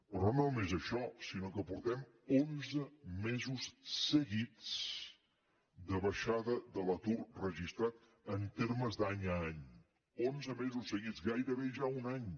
però no només això sinó que portem onze mesos seguits de baixada de l’atur registrat en termes d’any a any onze mesos seguits gairebé ja un any